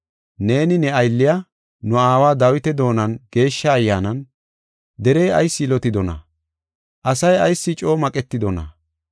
Neeni ne aylliya, nu aawa Dawita doonan Geeshsha Ayyaanan, “ ‘Derey ayis yilotidonaa? Asay ayis coo maqetidona?